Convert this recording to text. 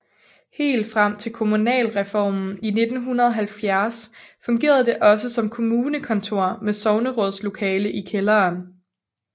Helt frem til kommunalreformen i 1970 fungerede det også som kommunekontor med sognerådslokale i kælderen